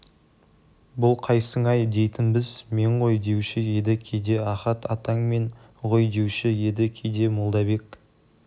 бұ қайсың-ай дейтінбіз мен ғой деуші еді кейде ахат атаң мен ғой деуші еді кейде молдабек